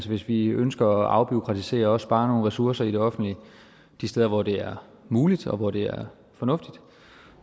hvis vi ønsker at afbureaukratisere og også spare nogle ressourcer i det offentlige de steder hvor det er muligt og hvor det er fornuftigt